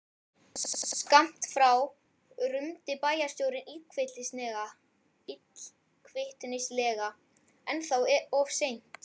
Skammt frá rumdi bæjarstjórinn illkvittnislega: Ennþá of sein